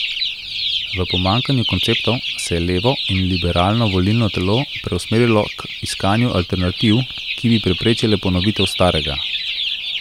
V pomanjkanju konceptov se je levo in liberalno volilno telo preusmerilo k iskanju alternativ, ki bi preprečile ponovitev starega.